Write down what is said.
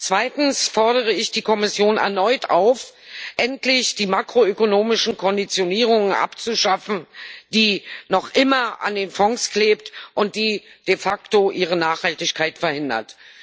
Zweitens fordere ich die Kommission erneut auf, endlich die makroökonomischen Konditionierungen abzuschaffen, die noch immer an den Fonds kleben und de facto ihre Nachhaltigkeit verhindern.